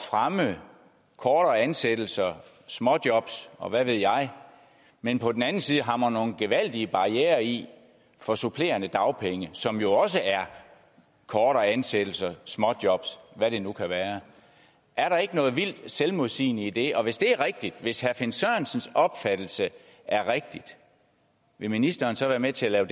fremme kortere ansættelser småjobs og hvad ved jeg men på den anden side hamrer nogle gevaldige barrierer i for supplerende dagpenge som jo også er kortere ansættelser småjobs hvad det nu kan være er der ikke noget vildt selvmodsigende i det hvis det er rigtigt hvis herre finn sørensens opfattelse er rigtig vil ministeren så være med til at